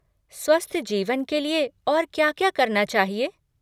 स्वस्थ जीवन के लिए और क्या क्या करना चाहिए?